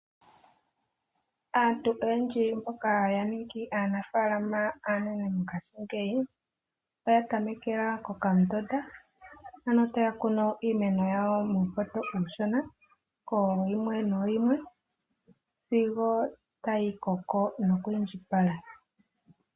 Aanafalama oyendji oya tameka kokamutota mo ku kuna iimeno yawo muupoto uushona ko yimwe noyimwe sigo ta yiko ko nokwindjipala.